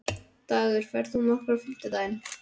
Dagur, ferð þú með okkur á fimmtudaginn?